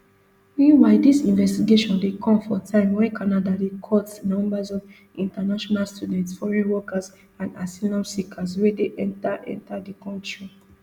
meanwhile dis investigation dey come for time wen canada dey cut numbers of international students foreign workers and asylum seekers wey dey enta enta di kontri